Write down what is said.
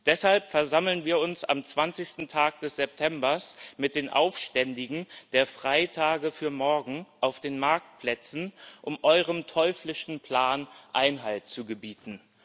Deshalb versammeln wir uns am zwanzigsten Tag des Septembers mit den Aufständischen der Freitage für morgen auf den Marktplätzen, um eurem teuflischen Plan Einhalt zu gebieten.